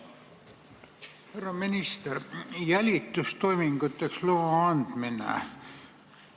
Härra minister!